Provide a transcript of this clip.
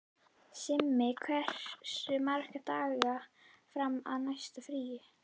Simmi, hversu margir dagar fram að næsta fríi?